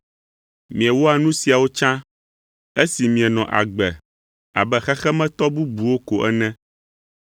Miewɔa nu siawo tsã esi mienɔ agbe abe xexemetɔ bubuwo ko ene,